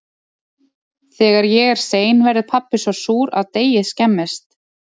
Þegar ég er sein verður pabbi svo súr að deigið skemmist.